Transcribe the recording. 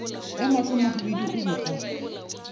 ya mahlomahwibidu o be a